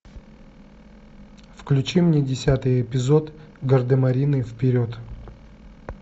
включи мне десятый эпизод гардемарины вперед